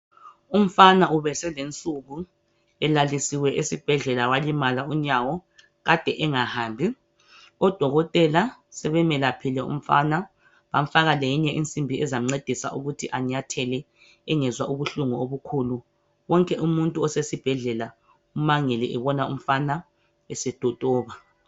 Umfana ubeselensuku elalisiwe esibhedlela walimala unyawo ade engahambi. Odokotela sebemelaphile umfana bamfaka leyinye insimbi ezamncedisa ukuthi anyathele engezwa ubuhlungu obukhulu. Wonke umuntu osesibhedlela umangele esebona umfana esetotoba.